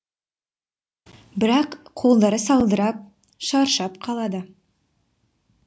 бірақ қолдары салдырап шаршап қалады